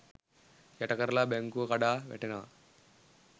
යට කරලා බැංකුව කඩා වැටෙනවා.